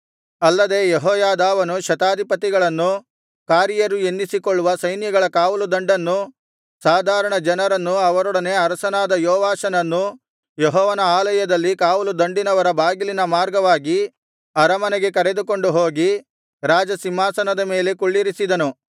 ಅಲ್ಲದೆ ಯೆಹೋಯಾದಾವನು ಶತಾಧಿಪತಿಗಳನ್ನು ಕಾರಿಯರು ಎನ್ನಿಸಿಕೊಳ್ಳುವ ಸೈನ್ಯಗಳ ಕಾವಲುದಂಡನ್ನು ಸಾಧಾರಣ ಜನರನ್ನು ಅವರೊಡನೆ ಅರಸನಾದ ಯೆಹೋವಾಷನನ್ನು ಯೆಹೋವನ ಆಲಯದಲ್ಲಿ ಕಾವಲುದಂಡಿನವರ ಬಾಗಿಲಿನ ಮಾರ್ಗವಾಗಿ ಅರಮನೆಗೆ ಕರೆದುಕೊಂಡು ಹೋಗಿ ರಾಜಸಿಂಹಾಸನದ ಮೇಲೆ ಕುಳ್ಳಿರಿಸಿದನು